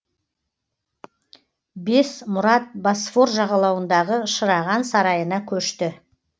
бес мұрат босфор жағалауындағы шыраған сарайына көшті